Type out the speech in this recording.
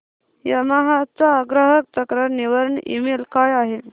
Yamaha चा ग्राहक तक्रार निवारण ईमेल काय आहे